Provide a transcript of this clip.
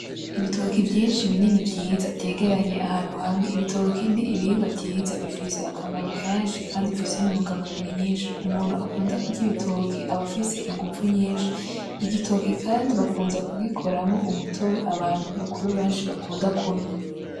Ibitoki vyinshi binini vyiza vyegeranye ahantu hamwe. Ibitoki n’ibihingwa vyiza bifise akamaro kenshi kandi bifise intunga mubiri nyinshi. Umuntu akunda kurya ibitoki aba afise inguvu nyinshi, igitoki kandi bakunda kugikoramwo umutobe abantu bakuru benshi bakunda kunwa.